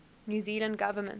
new zealand government